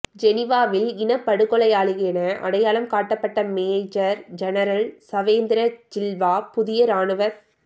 ஜெனிவாவில் இனப்படுகொலையாளியென அடையாளம் காட்டப்பட்ட மேஜர் ஜெனரல் சவேந்திர சில்வா புதிய இராணுவத்